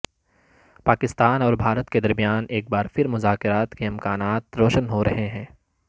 پاکستان اور بھارت کے درمیان ایک بار پھر مذاکرات کے امکانات روشن ہو رہے ہیں